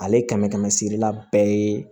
Ale kɛmɛ kɛmɛsirila bɛɛ ye